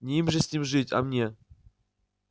не им же с ним жить а мне